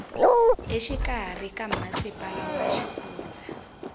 exikarhi ka masipala wa xifundza